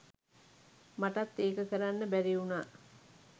මටත් ඒක කරන්න බැරි වුණා.